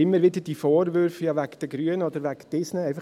Immer wieder diese Vorwürfe «wegen den Grünen» oder «wegen jenen»